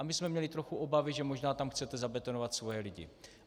A my jsme měli trochu obavy, že možná tam chcete zabetonovat svoje lidi.